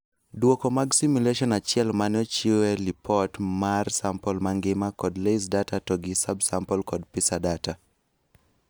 Duoko mag simulation achiel mane ochieu li[pot mmar sample mangima kod LAYS data to gi subsample kod PISA data